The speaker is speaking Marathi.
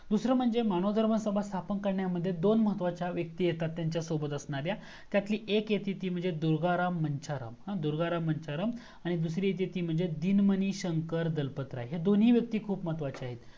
दूसरा म्हणजे मानव धर्म सभा स्थापन करण्यामध्ये दोन महत्वाच्या व्यक्ति येतात त्यांच्यसोबत असण्यार्‍या त्यातली एक येती ती म्हणजे दुर्गाराम मंचाराम हा दुर्गाराम मंचाराम आणि दुसरी येती ती म्हणजे दिनमणि शंकर दळपतराय ही दोन्ही व्यक्ति खूप महत्वाच्या आहेत